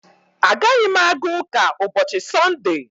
Agaghị m aga ụka ụbọchị Sọnde